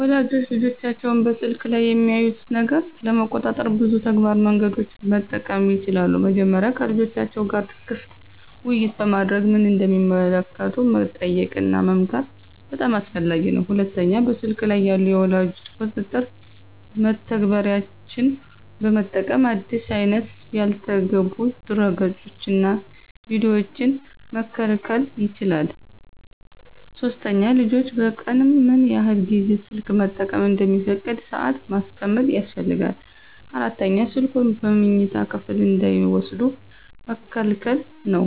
ወላጆች ልጆቻቸው በስልክ ላይ የሚያዩትን ነገር ለመቆጣጠር ብዙ ተግባራዊ መንገዶችን መጠቀም ይችላሉ። መጀመሪያ ከልጆቻቸው ጋር ክፍት ውይይት በማድረግ ምን እንደሚመለከቱ መጠየቅና መመክር በጣም አስፈላጊ ነው። ሁለተኛ በስልክ ላይ ያሉ የወላጅ ቁጥጥር መተግበሪያዎችን በመጠቀም አዲስ አይነት ያልተገቡ ድረገፆችንና ቪዲዮዎችን መከልከል ይቻላል። ሶስተኛ ልጆች በቀን ምን ያህል ጊዜ ስልክ መጠቀም እንደሚፈቀድ ሰአት ማስቀመጥ ያስፈልጋል። አራተኛ ስልኩን በመኝታ ክፍል እንዳይወስዱ መከልከል ነው።